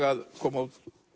að koma